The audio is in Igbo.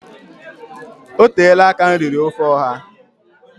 Oteela aka m riri ofe ọha